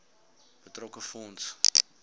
betrokke fonds